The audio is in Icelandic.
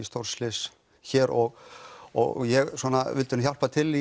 stórslys hér og og ég vildi hjálpa til